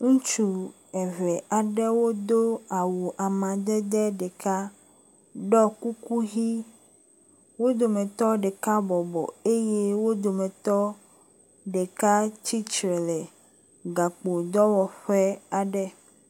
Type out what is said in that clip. Ŋutsu eve aɖewo do awu amadede ɖeka, ɖɔ kuku ʋi. Wo dometɔ ɖeka bɔbɔ eye wo dometɔ ɖeka tsitre le gakpo dɔwɔƒe aɖe.